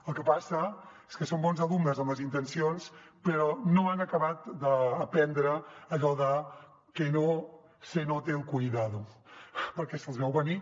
el que passa és que són bons alumnes en les intencions però no han acabat d’aprendre allò de que no se note el cuidado perquè se’ls veu venir